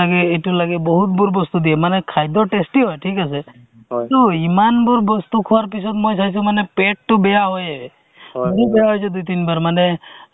এজনীত এজনী pregnant women ৰ অ কিমান সন দিন লাগে ধৰা উম তেওৰ entry কেনেকে হয় free ত মানে গোটেইখিনি তাত actually data entry কৰোতে শিকা হয়